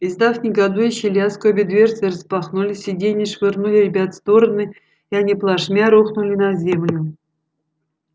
издав негодующий лязг обе дверцы распахнулись сиденья швырнули ребят в стороны и они плашмя рухнули на землю